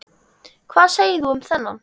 Hvað segir þú um þennan?